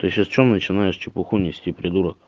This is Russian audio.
ты сейчас что начинаешь чепуху нести придурок